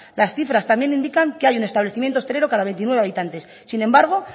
las cifras también indican que hay un establecimiento hostelero cada veintinueve habitantes sin embargo